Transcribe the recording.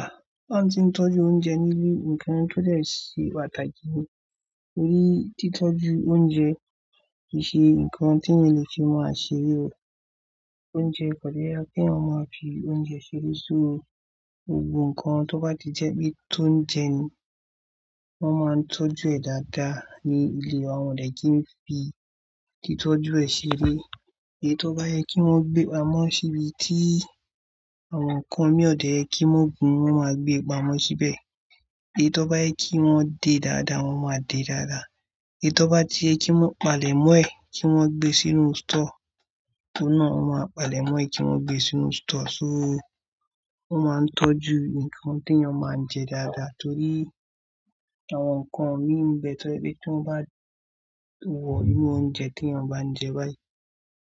Ah! Fún àwọn ti n tọ́jú oúnjẹ ni ilé, nkan to dẹ̀ ṣe pàtàkì ni. Nítorí títọ́jú oúnjẹ kìí ṣe nkan ti èèyàn lè máa fi ṣe eré o, oúnjẹ, ko dẹ̀ yẹ kí èèyàn máa fi oúnjẹ ṣeré so gbogbo nkan tó bá ti jẹ́ pé tóunjẹ ni, wọ́n má n tọ́jú ẹ̀ dada ni ilé wa, wọn ò dẹ̀ ki n fi títọ́jú ẹ̀ ṣeré. Èyí tó bá yẹ kí wọn gbé pamọ́ ṣí ibi tí àwọn nkan mi ò dẹ̀ kí wọn gùn, wọ́n ma gbé pamọ́ síbẹ̀. Etọ bá yẹ kí wọn dé dada, wọ́n ma dé dada. Èyí tó bá ti yẹ kí wọn palẹ̀ mọ́ ẹ̀, kí wọn gbé sínú sítọ̀, torí náà wọ́n ma palẹ̀ mọ́ ẹ̀ kí wọn gbé sínú sítọ̀. So, wọ́n má n tọ́jú nkan tí èèyàn má n jẹ dada, nítorí àwọn nkan mi bẹ tó jẹ́ pé, tí wọ́n bá wọ inú oúnjẹ tí ẹ bá ń jẹ báyì,